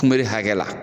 Kunbere hakɛ la